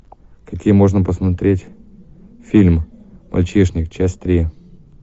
какие можно посмотреть фильм мальчишник часть три